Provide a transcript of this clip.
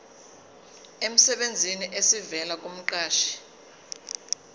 emsebenzini esivela kumqashi